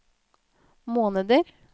måneder